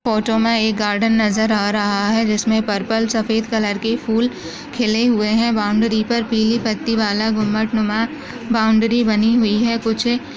photo में एक garden नज़र आ रहा है जिसमे पर्पल सफ़ेद कलर के फूल खिले हुए है बॉउंड्री पर पिली पत्तीवाला घुम्मटनुमा बॉउंड्री बनी हुई है कुछ--